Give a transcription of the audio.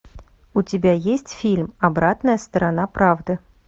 у тебя есть фильм обратная сторона правды